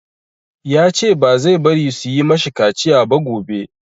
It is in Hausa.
Ya ce ba zai bari su yi ma shi kaciya ba gobe.